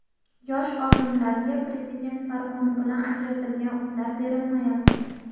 Yosh olimlarga Prezident farmoni bilan ajratilgan uylar berilmayapti.